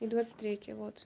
и двадцать третье вот